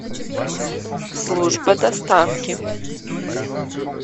служба доставки